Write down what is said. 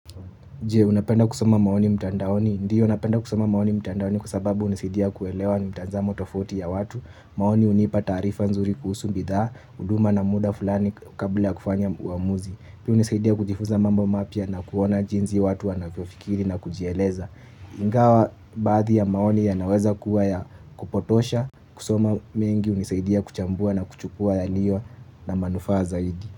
Jee, unapenda kusoma maoni mtandaoni? Ndiyo napenda kusoma maoni mtandaoni kwa sababu unisaidia kuelewa mitanzamo tofauti ya watu. Maoni unipa taarifa nzuri kuhusu bidhaa, huduma na muda fulani kabla kufanya uamuzi. Pia hunisaidia kujifunza mambo mapya na kuona jinsi watu wanavyofikiri na kujieleza. Ingawa baadhi ya maoni ya naweza kuwa ya kupotosha. Kusoma mengi unisaidia kuchambua na kuchukua ya liyo na manufaa zaidi.